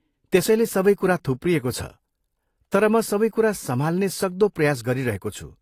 त्यसैले सबै कुरा थुप्रिएको छ, तर म सबै कुरा सम्हाल्ने सक्दो प्रयास गरिरहेको छु।